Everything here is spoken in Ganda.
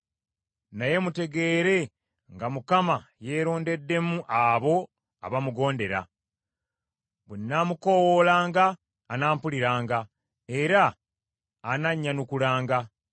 Naye mutegeere nga Mukama yeerondeddemu abo abamugondera. Bwe nnaamukoowoolanga anampuliranga era anannyanukulanga.